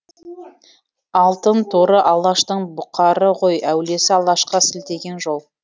алтынторы алаштың бұқары ғой әулиесі алашқа сілтеген жол